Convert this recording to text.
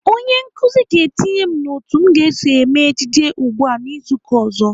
Onye nkụzi ga-etinye m n'otu m ga-eso eme ejije ugbu a izu uka ọzọ.